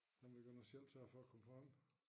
Der måtte vi godt nok selv sørge for at komme frem